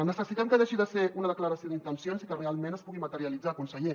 necessitem que deixi de ser una declaració d’intencions i que realment es pugui materialitzar conseller